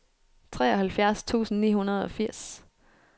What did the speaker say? treoghalvfjerds tusind ni hundrede og firs